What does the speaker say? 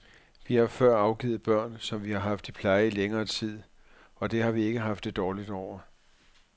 Vi har før afgivet børn, som vi har haft i pleje i længere tid, og det har vi ikke haft det dårligt over.